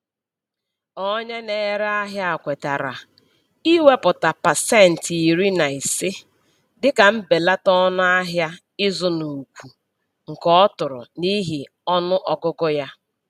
Onye na-ere ahịa kwetara iwepụta pasenti iri na ise dịka mbelata ọnụ ahịa ịzụ n'ukwunke ọ tụrụ n'ihi ọnụ ọgụgụ ya.